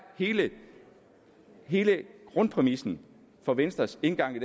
hele grundpræmissen for venstres tilgang